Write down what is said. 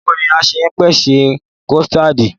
Báwoni a ṣe ń pèsè kọ̀stáádì?